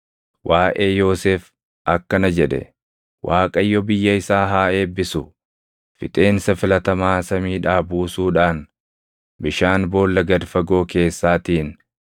Waaʼee Yoosef akkana jedhe: “ Waaqayyo biyya isaa haa eebbisu; fixeensa filatamaa samiidhaa buusuudhaan bishaan boolla gad fagoo keessaatiin,